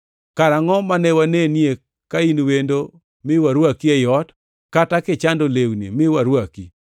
Karangʼo mane wanenie ka in wendo mi warwaki ei ot, kata kichando lewni mi warwaki?